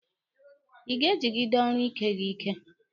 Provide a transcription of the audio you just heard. Ị ga-ejigide ọrụ Ike gị ike!